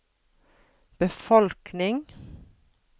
befolkning